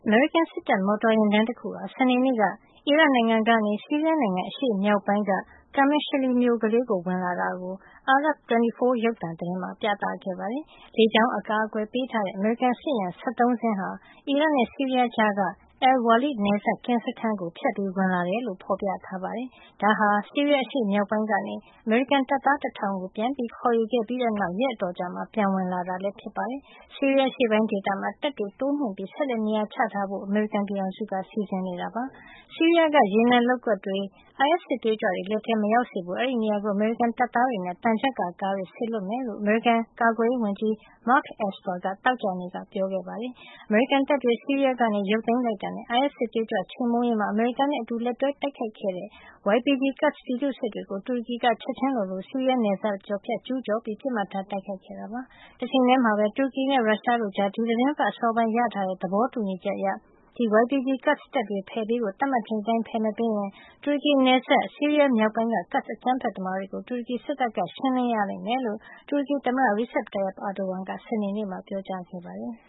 မေရိကန် စစ်တပ်မော်တော်ယာဉ်တန်းတခုဟာ စနေနေ့က အီရတ်နိုင်ငံကနေ ဆီးရီးယားနိုင်ငံ အရှေ့မြောက်ပိုင်း Qamishli မြို့လေးထဲ ဝင်လာတာကို အာရပ် 24 ရုပ်သံသတင်းမှာ ပြသခဲ့ပါတယ်။ လေကြောင်းအကာအကွယ်ပေးထားတဲ့ အမေရိကန် စစ်ယာဉ် ၁၃ စင်းဟာ အီရတ်နဲ့ ဆီးရီးယားကြားက al-Waleed နယ်စပ် ကင်းစခန်းကိုဖြတ်ပြီး ဝင်လာတယ်လို့လည်း ဖော်ပြထားပါတယ်။ ဒါဟာ ဆီးရီးယားအရှေ့မြောက်ပိုင်းကနေ အမေရိကန်တပ်သား ၁,၀၀၀ ကို ပြန်ခေါ်ယူ ခဲ့ပြီးတဲ့နောက် ရက်အတော်ကြာမှာ ပြန်ဝင်လာတာလည်း ဖြစ်ပါတယ်။ ဆီးရီးယားအရှေ့ပိုင်းဒေသမှာ တပ်တွေတိုးမြှင့်ပြီး ဆက်လက် နေရာချထားဖို့ အမေရိကန်ပြည်ထောင်စုက စီစဉ်နေပါတယ်။ ဆီးရီးယားက ရေနံလုပ်ကွက်တွေ အိုင်အက်စ် စစ်သွေးကြွတွေလက်ထဲ မရောက်စေဖို့ အဲဒီနေရာကို အမေရိကန်တပ်သားတွေနဲ့ သံချပ်ကာကားတွေ စေလွှတ်မယ်လို့ အမေရိကန်ကာကွယ်ရေးဝန်ကြီး Mark Esper က သောကြာနေ့က ပြောခဲ့တာပါ။ အမေရိကန်တပ်တွေ ဆီးရီးယားကနေ ရုပ်သိမ်းလိုက်တာနဲ့ အိုင်အက်စ်စစ်သွေးကြွချေမှုန်းရေးမှာ အမေရိကန်နဲ့ အတူလက်တွဲတိုက်ခဲ့တဲ့ YPG Kurds ပြည်သူ့စစ်တွေကို တူရကီက ချက်ချင်းလိုလို ဆီးရီးယားနယ်စပ်ဖြတ် ကျူးကျော်ပြီး ပစ်မှတ်ထား တိုက်ခိုက်ခဲ့တာဖြစ်ပါတယ်။ တချိန်ထဲမှာပဲ တူရကီနဲ့ ရုရှားတို့ကြား ဒီသီတင်းပတ်အစောပိုင်းက ရရှိခဲ့တဲ့ သဘောတူညီ ချက်အရ YPG Kurds တပ်တွေ ဖယ်ပေးရမယ့် သတ်မှတ်ထားချိန်အတိုင်း ဖယ်မပေးရင် တူရကီနယ်စပ်၊ ဆီးရီးယားမြောက်ပိုင်းက Kurds အကြမ်းဖက်သမားတွေကို တူရကီ စစ်တပ်က ရှင်းလင်းရလိမ့်မယ်လို့ တူရကီသမ္မတ Recep Tayyip Erdogan က စနေနေ့ က ပြောကြားခဲ့ပါတယ်။